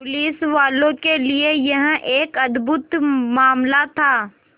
पुलिसवालों के लिए यह एक अद्भुत मामला था